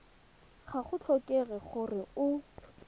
ga go tlhokege gore o